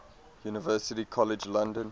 university college london